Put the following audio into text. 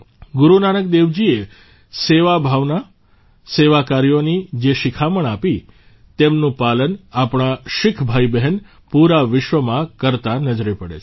ગુરુ નાનક દેવજીએ સેવા ભાવના સેવાકાર્યોની જે શિખામણ આપી તેમનું પાલન આપણા શીખ ભાઇબહેન પૂરા વિશ્વમાં કરતાં નજરે પડે છે